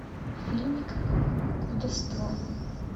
фильмик колдовство